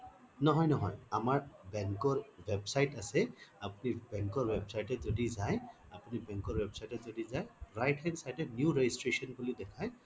নহয় নহয় আমাৰ bank ৰ website আছে আপুনি bank ৰ website ৰ through ৰে যায় আপুনি bank ৰ website ত যদি যায় right hand side এ new registration বুলি দেখাই